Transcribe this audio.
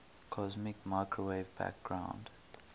cosmic microwave background